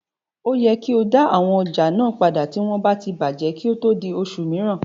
O yẹ kí o dá àwọn ọjà náà padà tí wọ́n bá ti bàjẹ́ kí ó tó di oṣù mẹrin.